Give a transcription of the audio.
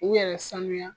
U yɛrɛ sanuya